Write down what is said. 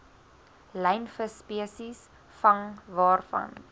lynvisspesies vang waarvan